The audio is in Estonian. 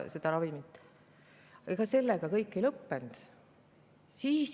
Ja sellega kõik veel ei lõppenud.